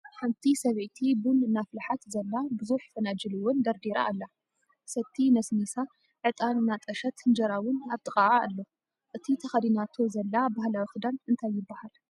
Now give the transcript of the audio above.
ሓንቲ ሰበይቲ ቡን እናፍልሓት ዘላ ብዙሕ ፈናጅል እውን ደርዲራ ኣላ ።ሰቲ ነስኒሳ ዕጣን እናጠሸት እንጀራ እውን ኣብጥቅኣ አሎ ።እቲ ተከዲናቶ ዘላ ባህላዊ ክዳን እንታይ ይብሃ?